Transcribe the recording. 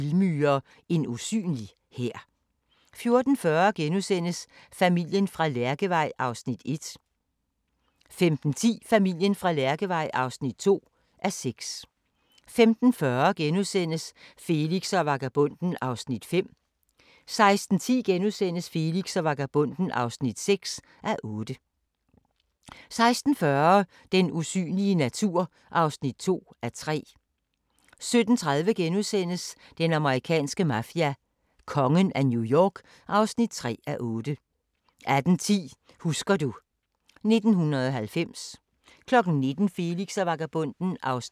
15:10: Familien fra Lærkevej (2:6) 15:40: Felix og vagabonden (5:8)* 16:10: Felix og vagabonden (6:8)* 16:40: Den usynlige natur (2:3) 17:30: Den amerikanske mafia: Kongen af New York (3:8)* 18:10: Husker du ... 1990 19:00: Felix og vagabonden (7:8) 19:30: Felix og vagabonden (8:8) 20:00: Din yndlingsmad: Brødfabrikken 21:00: Lægen flytter ind (1:6)